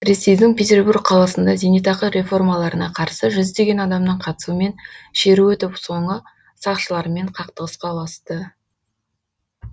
ресейдің петербург қаласында зейнетақы реформаларына қарсы жүздеген адамның қатысуымен шеру өтіп соңы сақшылармен қақтығысқа ұласты